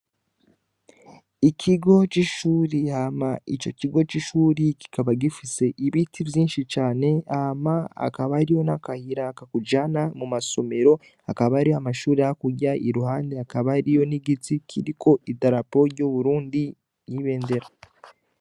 Ikigo c'ishure, hama ico kigo c'ishure kikaba gifise ibiti vyinshi cane hama hakaba hariho n'akayira kakujana mu masomero, hakaba hariho amashure hakurya, iruhande hakaba hariho n'igiti kiriko idarapo ry'Uburundi n'ibendera.